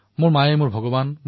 মোৰ মায়েই মোৰ বাবে ভগবান